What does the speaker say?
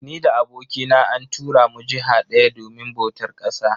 Ni da abokina an tura mu jiha daya domin bautar ƙasa